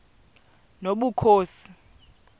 nobukhosi